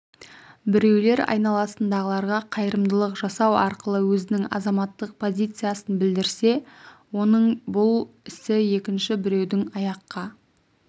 біреулер айналасындағыларға қайырымдылық жасау арқылы өзінің азаматтық позициясын білдірсе оның бұл ісі екінші біреудің аяққа